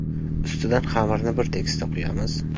Ustidan xamirni bir tekisda quyamiz.